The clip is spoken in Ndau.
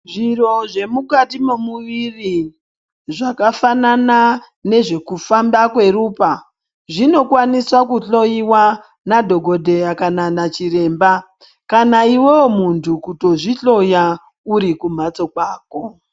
Zviro zvemukati mwemuviri zvakafanana nezvekufamba kweropa zvino kwanisa kuhloyiwa nadhogodheya kana na chiremba kana iwewe muntu kutozvihloya uri kumhatso kwako.